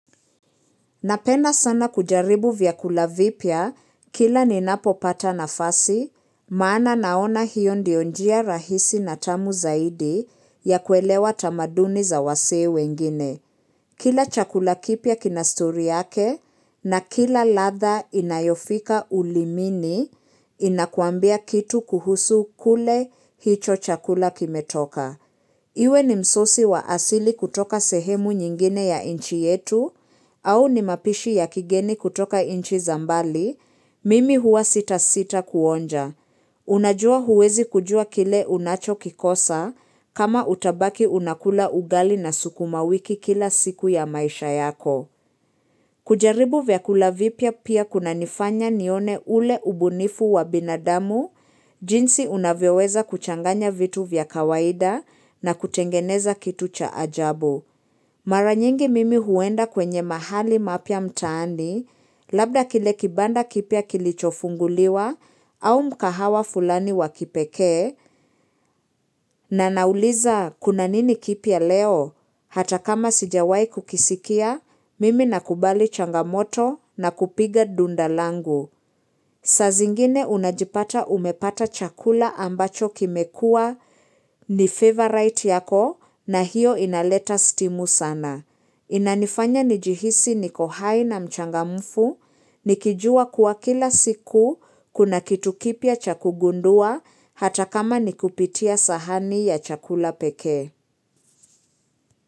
Napenda sana kujaribu vyakula vipya kila ninapopata nafasi, maana naona hiyo ndio njia rahisi na tamu zaidi ya kuelewa tamaduni za wasee wengine. Kila chakula kipya kina stori yake na kila ladha inayofika ulimini inakuambia kitu kuhusu kule hicho chakula kimetoka. Iwe ni msosi wa asili kutoka sehemu nyingine ya nchi yetu au ni mapishi ya kigeni kutoka nchi za mbali, mimi huwa sitasita kuonja. Unajua huwezi kujua kile unachokikosa kama utabaki unakula ugali na sukuma wiki kila siku ya maisha yako. Kujaribu vyakula vipya pia kuna nifanya nione ule ubunifu wa binadamu jinsi unavyoweza kuchanganya vitu vya kawaida na kutengeneza kitu cha ajabu. Maranyingi mimi huenda kwenye mahali mapya mtaani, labda kile kibanda kipya kilichofunguliwa au mkahawa fulani wakipeke, na nauliza kuna nini kipya leo, hata kama sijawahi kukisikia, mimi nakubali changamoto na kupiga dundalangu. Saa zingine unajipata umepata chakula ambacho kimekua ni favorite yako na hiyo inaleta stimu sana. Inanifanya nijihisi niko hai na mchangamufu, nikijua kuwa kila siku, kuna kitu kipya cha kugundua hata kama nikupitia sahani ya chakula peke.